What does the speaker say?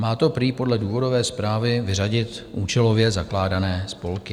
Má to prý podle důvodové zprávy vyřadit účelově zakládané spolky.